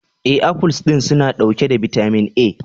E, afuls din suna dauke da bitamin A.